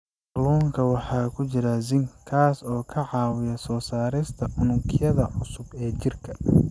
Kalluunka waxaa ku jira zinc, kaas oo ka caawiya soo saarista unugyada cusub ee jirka.